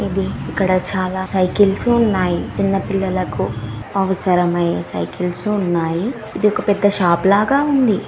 ఇక్కడ చాలా సైకిల్స్ ఉన్నాయి. చిన్నపిల్లలకు అవసరమైన సైకిల్స్ ఉన్నాయి. ఇది ఒక పెద్ద షాపులాగా ఉంది.